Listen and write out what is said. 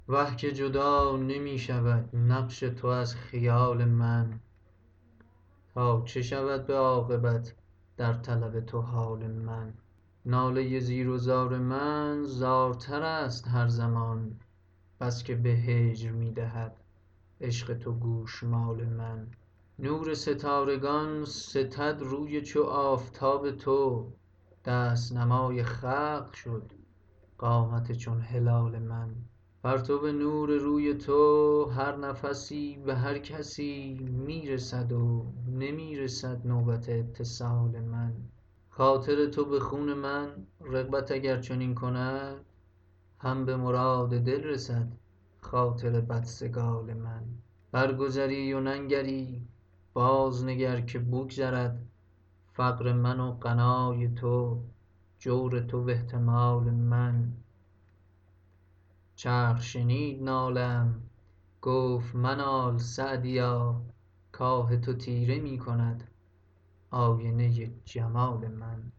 وه که جدا نمی شود نقش تو از خیال من تا چه شود به عاقبت در طلب تو حال من ناله زیر و زار من زارتر است هر زمان بس که به هجر می دهد عشق تو گوشمال من نور ستارگان ستد روی چو آفتاب تو دست نمای خلق شد قامت چون هلال من پرتو نور روی تو هر نفسی به هر کسی می رسد و نمی رسد نوبت اتصال من خاطر تو به خون من رغبت اگر چنین کند هم به مراد دل رسد خاطر بدسگال من برگذری و ننگری بازنگر که بگذرد فقر من و غنای تو جور تو و احتمال من چرخ شنید ناله ام گفت منال سعدیا کآه تو تیره می کند آینه جمال من